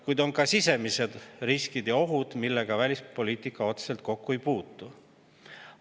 Kuid on ka sisemised riskid ja ohud, millega välispoliitika otseselt kokku ei puutu.